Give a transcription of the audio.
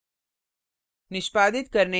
अब enter दबाएँ